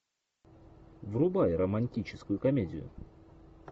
врубай романтическую комедию